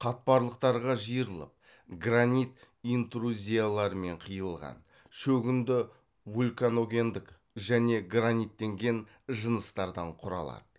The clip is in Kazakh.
қатпарлықтарға жиырылып гранит интрузияларымен қиылған шөгінді вулканогендік және граниттенген жыныстардан құралады